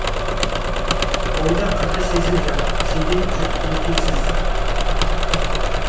ойда қырда сезім жыр сенделіп жүр мекенсіз